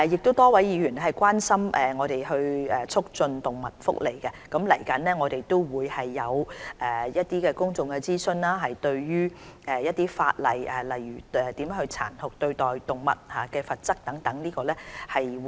多位議員亦關心促進動物福利，我們即將就有關法例進行公眾諮詢，例如殘酷對待動物的罰則等。